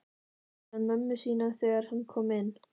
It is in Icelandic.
spurði hann mömmu sína þegar hann kom inn.